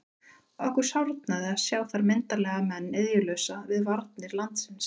Okkur sárnaði að sjá þar myndarlega menn iðjulausa við varnir landsins.